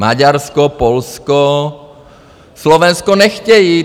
Maďarsko, Polsko, Slovensko nechtějí.